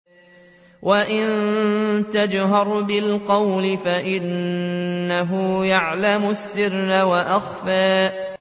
وَإِن تَجْهَرْ بِالْقَوْلِ فَإِنَّهُ يَعْلَمُ السِّرَّ وَأَخْفَى